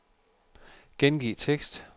Gengiv tekst.